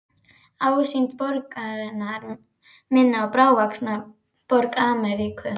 Ásýnd borgarinnar minnir á bráðvaxnar borgir Ameríku.